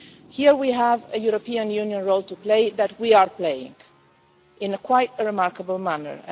Here we have a European Union role to play that we are playing in a quite a remarkable manner.